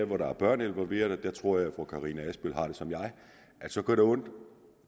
hvor der er børn involveret tror jeg at fru karina adsbøl har det som mig at så gør det ondt